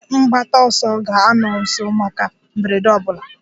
Ndị mgbataọsọ ga-anọ nso maka mberede ọ bụla.